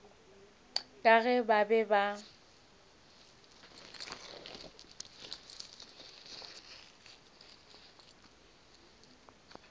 ka ge ba be ba